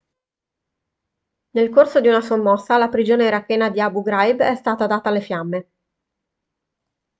nel corso di una sommossa la prigione irachena di abu ghraib è stata data alle fiamme